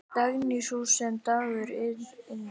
Dagný, sú sem dagur yngir.